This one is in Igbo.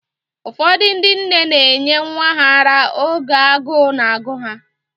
Ụfọdụ ndị nne na enye nwa ha ara oge agụụ na-agụ ha